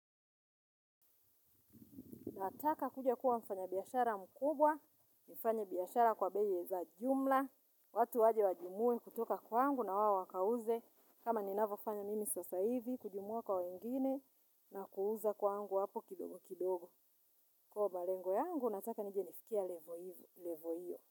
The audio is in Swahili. Nataka kuja kuwa mfanyabiashara mkubwa, mfanyabiashara kwa bei za jumla, watu waje wajimue kutoka kwangu na wao wakauze kama ninavyofanya mimi sasa hivi, kujimua kwa wengine na kuuza kwangu wapo kidogo kidogo. Kwa malengo yangu, nataka nije nifikie 'level' hiyo.